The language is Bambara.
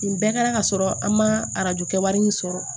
Nin bɛɛ kɛra ka sɔrɔ an ma arajo kɛ wari in sɔrɔ